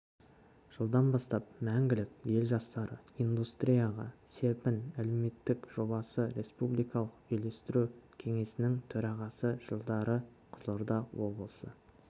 жылдан бастап мәңгілік ел жастары индустрияға серпін әлеуметтік жобасы республикалық үйлестіру кеңесінің төрағасы жылдары қызылорда облысы